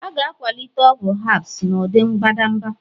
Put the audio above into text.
A ga-akwalite ọgwụ herbs n'ụdị mbadamba